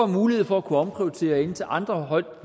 mulighed for at kunne omprioritere til andre højt